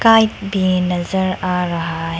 भी नजर आ रहा है।